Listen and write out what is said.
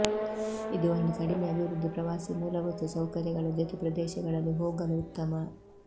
ಇದು ಒಂದು ಕಡಿಮೆ ಅಭಿವೃದ್ಧಿ ಪ್ರವಾಸಿ ಮೂಲಭೂತ ಸೌಕರ್ಯಗಳ ಜೊತೆ ಪ್ರದೇಶಗಳಲ್ಲಿ ಹೋಗಲು ಉತ್ತಮ